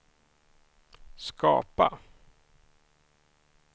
skapa